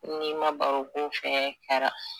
N'i ma baro k'u fɛ kara